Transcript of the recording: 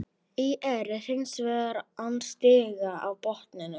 ÍR er hins vegar án stiga á botninum.